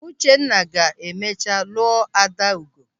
Uchenna ga-emecha lụọ Adaugo.